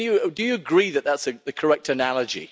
Do you agree that that's the correct analogy?